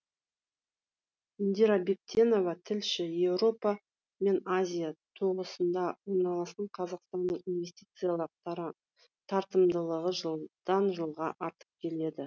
индира бектенова тілші еуропа мен азия тоғысында орналасқан қазақстанның инвестициялық тартымдылығы жылдан жылға артып келеді